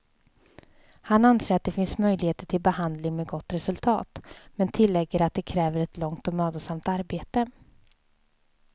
Han anser att det finns möjligheter till behandling med gott resultat, men tillägger att det kräver ett långt och mödosamt arbete.